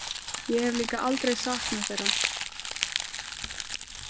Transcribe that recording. Ég hef líka aldrei saknað þeirra.